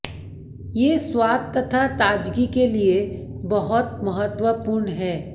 ये स्वाद तथा ताजगी के लिए बहुत महत्वपूर्ण हैं